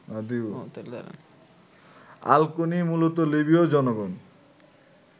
Al Koni: মূলত লিবীয় জনগণ